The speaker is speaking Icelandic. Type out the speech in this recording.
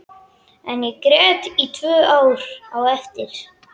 En ég grét í tvö ár á eftir.